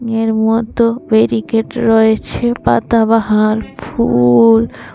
এর মধ্য ব্যারিকেড রয়েছে পাতাবাহার ফুল ।